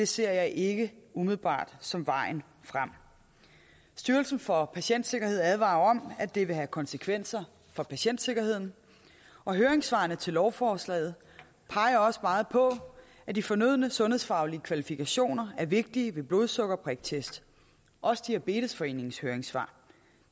ser jeg ikke umiddelbart som vejen frem styrelsen for patientsikkerhed advarer om at det vil have konsekvenser for patientsikkerheden og høringssvarene til lovforslaget peger også meget på at de fornødne sundhedsfaglige kvalifikationer er vigtige ved blodsukkerpriktest også diabetesforeningens høringssvar